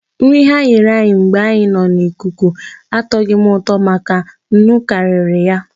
Nri ha nyere anyị mgbe anyị nọ n'ikuku atọgho m ụtọ maka nnu karịrị ya.